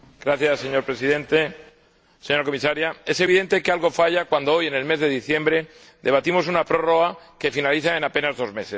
Señor Presidente, señora Comisaria, es evidente que algo falla cuando hoy, en el mes de diciembre, debatimos una prórroga que finaliza en apenas dos meses.